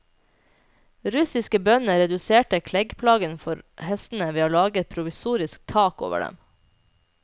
Russiske bønder reduserte kleggplagen for hestene ved å lage et provisorisk tak over dem.